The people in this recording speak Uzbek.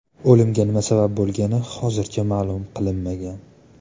O‘limga nima sabab bo‘lgani hozircha ma’lum qilinmagan.